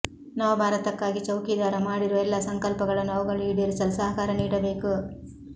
ನವ ಭಾರತಕ್ಕಾಗಿ ಚೌಕೀದಾರ ಮಾಡಿರುವ ಎಲ್ಲಾ ಸಂಕಲ್ಪಗಳನ್ನು ಅವುಗಳು ಈಡೇರಿಸಲು ಸಹಕಾರ ನೀಡಬೇಕು